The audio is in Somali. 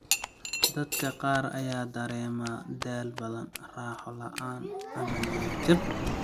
Dadka qaar ayaa dareema daal badan, raaxo la'aan, ama niyad jab.